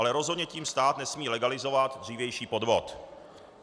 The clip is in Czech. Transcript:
Ale rozhodně tím stát nesmí legalizovat dřívější podvod.